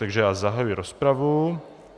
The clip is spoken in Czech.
Takže já zahajuji rozpravu.